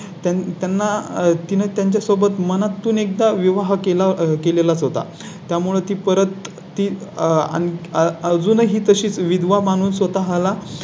त्यांना तिने त्यांच्या सोबत मनातून एकदा विवाह केला केला होता. त्यामुळे ती परत ती आणि अजूनही तशीच विधवा म्हणून स्वतः ला